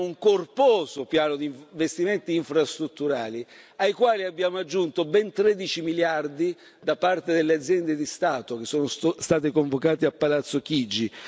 Noi abbiamo un corposo piano di investimenti infrastrutturali, ai quali abbiamo aggiunto ben 13 miliardi da parte delle aziende di Stato, che sono state convocate a Palazzo Chigi.